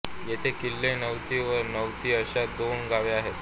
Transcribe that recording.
येथे किल्ले निवती व निवती अशी दोन गावे आहेत